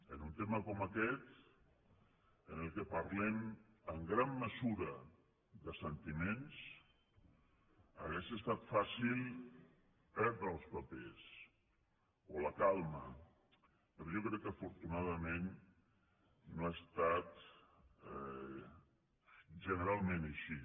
en un tema com aquest en què parlem en gran mesura de sentiments hauria estat fàcil perdre els papers o la calma però jo crec que afortunadament no ha estat generalment així